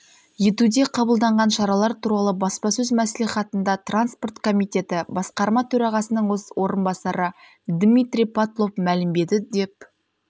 етуде қабылданған шаралар туралы баспасөз мәслихатында транспорт комитеті басқарма төрағасының орынбасары дмитрий потлов мәлімдеді деп